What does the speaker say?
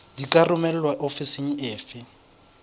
di ka romelwa ofising efe